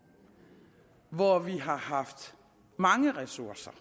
hvor vi har haft mange ressourcer